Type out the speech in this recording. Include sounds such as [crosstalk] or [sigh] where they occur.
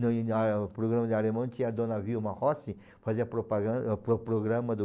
[unintelligible] No programa de alemão, tinha a dona Vilma Rossi, fazia propaganda, pro programa do...